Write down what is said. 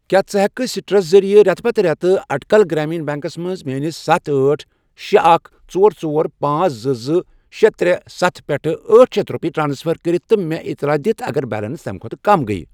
کیٛاہ ژٕ ہٮ۪کہٕ سِٹرس ذٔریعہٕ رٮ۪تہٕ پتہ رٮ۪تہٕ اُٹکَل گرٛامیٖن بیٚنٛکَس منٛز میٲنِس ستھَ، أٹھ، شے، اکھَ، ژور، ژور، پانژھ، زٕ، زٕ، شے، ترے، ستھَ، پٮ۪ٹھ أٹھ شیتھ رۄپیہِ ٹرانسفر کٔرِتھ تہٕ مےٚ اطلاع دِتھ اگر بیلنس تَمہِ کھۄتہٕ کم گٔیۍ؟